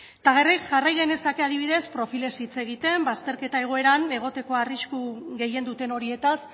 eta jarri genezake adibidez profilez hitz egiten bazterketa egoeran egoteko arrisku gehien duten horietaz